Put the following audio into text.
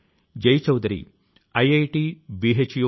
జీవితాన్ని తీర్చిదిద్దుతాయి